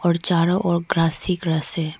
और चारो ओर ग्रास ही ग्रास है।